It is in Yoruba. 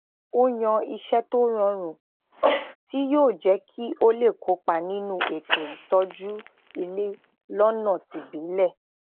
ó yan iṣé tó rọrùn ti yóò je kí o le kopa ninu eto itọju ile lọna tibile